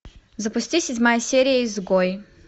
запусти седьмая серия изгой